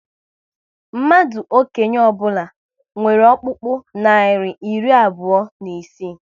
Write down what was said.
Mmadụ okenye ọbụla nwere ọkpụkpụ narị iri abụọ na isii